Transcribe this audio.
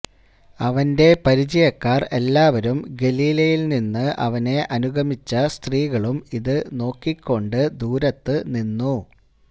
അവന്റെ പരിചയക്കാർ എല്ലാവരും ഗലീലയിൽ നിന്നു അവനെ അനുഗമിച്ച സ്ത്രീകളും ഇതു നോക്കിക്കൊണ്ടു ദൂരത്തു നിന്നു